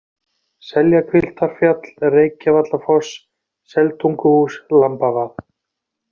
Seljahvilftarfjall, Reykjavallafoss, Seltunguhús, Lambavað